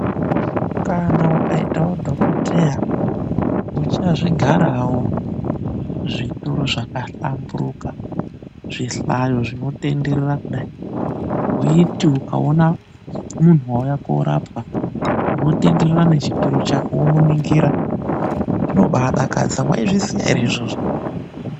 Kana ukaitawo Dhokodheya, uchazvigarawo zvituru zvakahlamburuka, zvihlayo zvinotenderera kudai. Weiti ukaona munhu wauya koorapwa unotenderera nechituru chako womuningira. Zvinobaadakadza, mwaizviziya ere izvozvo?